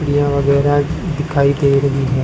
सीढ़ियां वगैरह दिखाई दे रही हैं।